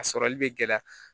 A sɔrɔli bɛ gɛlɛya